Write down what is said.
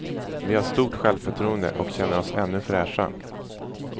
Vi har stort självförtroende och känner oss ännu fräscha.